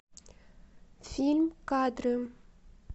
фильм кадры